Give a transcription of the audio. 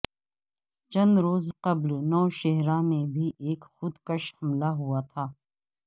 چند روز قبل نوشہرہ میں بھی ایک خود کش حملہ ہوا تھا